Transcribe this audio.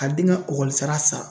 Ka den ka ekɔlisara sara